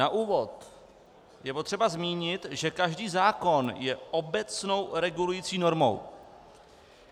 Na úvod je potřeba zmínit, že každý zákon je obecnou regulující normou.